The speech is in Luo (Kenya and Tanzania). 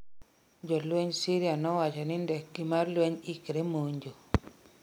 jolweny Syria nowachni ndekgi mar lweny ne ikre monjo